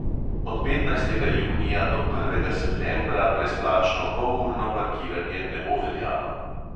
Od petnajstega junija do prvega septembra brezplačno polurno parkiranje ne bo veljalo.